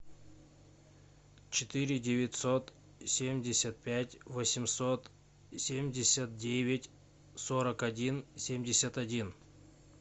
четыре девятьсот семьдесят пять восемьсот семьдесят девять сорок один семьдесят один